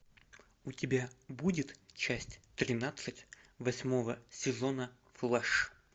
у тебя будет часть тринадцать восьмого сезона флеш